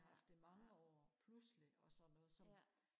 haft i mange år pludselig og sådan noget så